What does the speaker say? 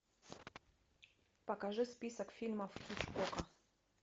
покажи список фильмов хичкока